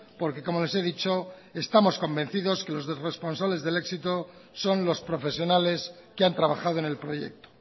porque como les he dicho estamos convencidos que los responsables del éxito son los profesionales que han trabajado en el proyecto